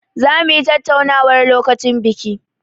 Zamu yi tattaunar lokacin biki.